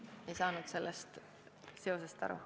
Ma ei saanud sellest seosest aru.